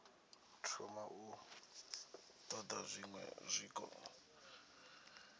thoma u ṱoḓa zwiṅwe zwiko